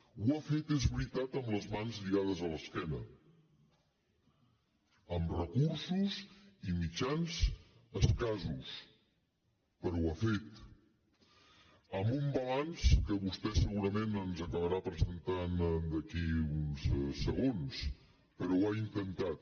ho ha fet és veritat amb les mans lligades a l’esquena amb recursos i mitjans escassos però ho ha fet amb un balanç que vostè segurament ens acabarà presentant d’aquí a uns segons però ho ha intentat